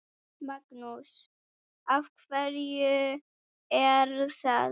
Magnús: Af hverju er það?